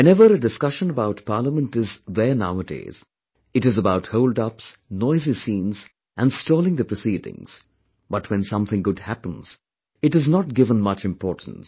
whenever a discussion about Parliament is there nowadays, it is about holdups, noisy scenes and stalling the proceedings but when something good happens, it is not given much importance